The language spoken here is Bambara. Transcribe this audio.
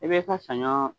I bɛ ka saɲɔ